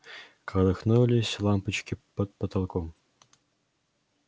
колыхнулись лампочки под потолком